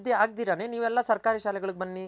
ಅಭಿವೃದ್ದಿ ಆಗ್ದಿರನೆ ನೀವೆಲ್ಲ ಸರ್ಕಾರಿ ಶಾಲೆಗಳಿಗ್ ಬನ್ನಿ